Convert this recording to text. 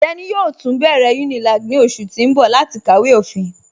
Teni yóò tun bẹ̀rẹ̀ Unilag ní ọṣù tì n bọ̀ láti kàwé ofín.